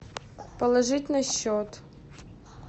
положить на счет